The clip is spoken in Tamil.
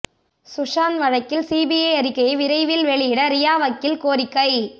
சுஷாந்த் வழக்கில் சிபிஐ அறிக்கையை விரைவில் வெளியிட ரியா வக்கீல் கோரிக்கை